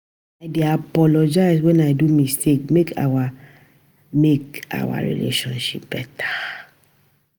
I dey always apologize wen I do mistake make our make our relationship beta.